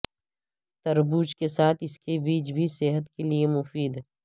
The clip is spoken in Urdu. تربوز کے ساتھ اسکے بیج بھی صحت کیلئے مفید